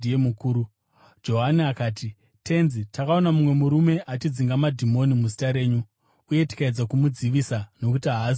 Johani akati, “Tenzi, takaona mumwe murume achidzinga madhimoni muzita renyu uye tikaedza kumudzivisa, nokuti haazi mumwe wedu.”